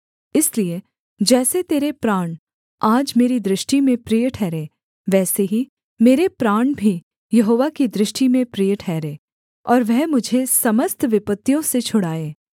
इसलिए जैसे तेरे प्राण आज मेरी दृष्टि में प्रिय ठहरे वैसे ही मेरे प्राण भी यहोवा की दृष्टि में प्रिय ठहरे और वह मुझे समस्त विपत्तियों से छुड़ाए